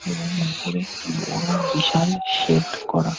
এবং উপরে বড় বিশাল শেড করা।